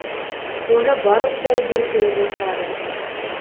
оны барлық дәрігер көріп отырады